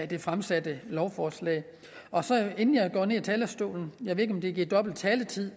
det fremsatte lovforslag inden jeg går ned af talerstolen jeg ved ikke om det giver dobbelt taletid